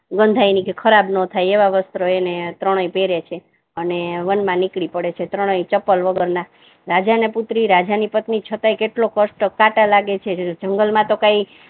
ગંધાય નહી કે ખરાબ ના થાય એવા વસ્ત્ર એને ત્રણે પહેરે છે અને વન મા નીકળી પડે છે ત્રણે ચંપલ વગર ના રાજા ની પુત્રી રાજા ની પત્નિ છતા કેટલો કષ્ટ કાટા લાગે છે જંગલ મા તો કઈ